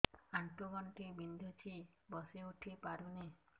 ଆଣ୍ଠୁ ଗଣ୍ଠି ବିନ୍ଧୁଛି ବସିଉଠି ପାରୁନି